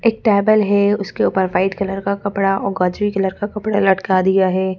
एक टेबल है उसके ऊपर व्हाइट कलर और गाजरी कलर का कपड़ा लटका दिया है।